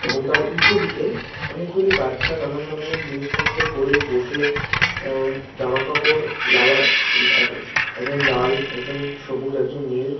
এবং তার উল্টো দিকে অনেক গুলো বাচ্চা নানান ধরণের জিনিস পত্র করে বসে জামাকাপড় লালা একজন লাল একজন সবুজ একজন নীল ।